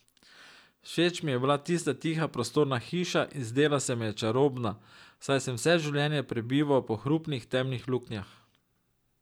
Všeč mi je bila tista tiha prostorna hiša in zdela se mi je čarobna, saj sem vse življenje prebival po hrupnih temnih luknjah.